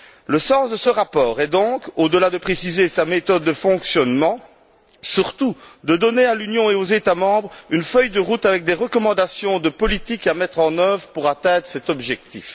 Le sens de ce rapport est donc, au delà de préciser sa méthode de fonctionnement, surtout de donner à l'Union et aux États membres une feuille de route avec des recommandations de politiques à mettre en œuvre pour atteindre cet objectif.